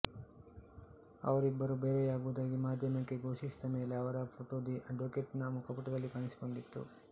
ಅವರಿಬ್ಬರು ಬೇರೆಯಾಗುವುದಾಗಿ ಮಾಧ್ಯಮಕ್ಕೆ ಘೋಷಿಸಿದ ಮೇಲೆ ಅವರ ಫೋಟೋ ದಿ ಅಡ್ವೋಕೇಟ್ ನ ಮುಖಪುಟದಲ್ಲಿ ಕಾಣಿಸಿಕೊಂಡಿತು